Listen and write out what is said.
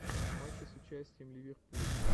матчи с участием ливерпуль